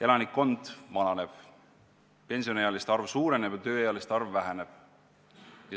Elanikkond vananeb, pensioniealiste arv suureneb ja tööealiste arv väheneb.